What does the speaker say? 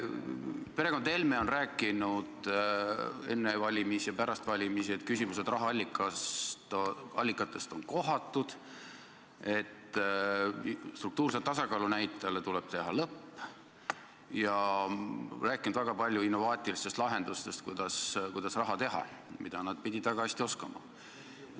Perekond Helmed on rääkinud enne valimisi ja pärast valimisi, et küsimused rahaallikate kohta on kohatud ja et struktuurse tasakaalu näitajale tuleb teha lõpp, nad on rääkinud väga palju innovaatilistest lahendustest, kuidas raha teha, mida nad pidid väga hästi oskama.